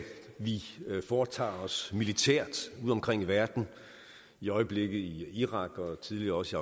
vi foretager os militært ude omkring i verden i øjeblikket i irak og tidligere også